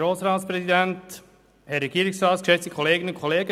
Kommissionssprecher der FiKo.